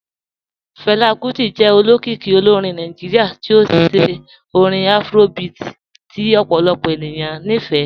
Fẹla Kuti jẹ òlókìíkì òlórìn Nàìjíríà tí ó ṣẹ̀ orin Afrobeat tí ọ̀pọ̀lọpọ̀ ènìyàn ní fẹ́.